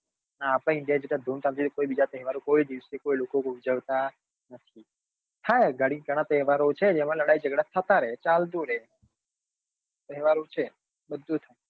હા આપડા india જેટલા ધૂમ ધામ થી કોઈ બીજા તહેવારો કોઈ બીજા કોઈ દિવસે કોઈ લોકો ઉજવાતા નથી હા ઘણાં તહેવારો છે જેમાં લડાઈ ઝગડા થતા રહે ચાલતું રહે તહેવારો છે બધું જ થાય